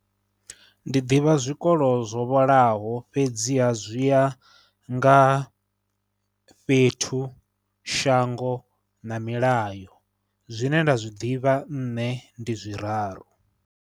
Ndi ḓivha zwikolo zwo vhalaho fhedziha zwi ya nga fhethu, shango na milayo, zwine nda zwi ḓivha nne ndi zwiraru.